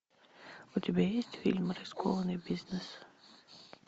у тебя есть фильм рискованный бизнес